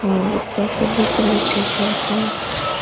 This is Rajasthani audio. ओ ऊपर कबूतर बैठे है चार पांच।